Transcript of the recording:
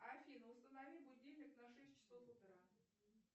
афина установи будильник на шесть часов утра